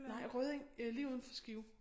Nej Rødding øh lige udenfor Skive